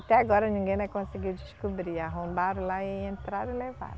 Até agora ninguém, né, conseguiu descobrir, arrombaram lá e entraram e levaram.